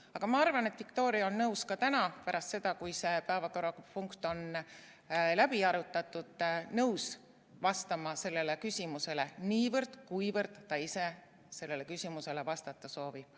Aga ma arvan, et Viktoria on nõus ka täna, pärast seda, kui see päevakorrapunkt on läbi arutatud, sellele küsimusele vastama – niivõrd, kuivõrd ta ise sellele küsimusele vastata soovib.